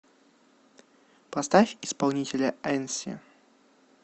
поставь исполнителя энси